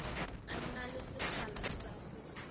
na le sekgala sa go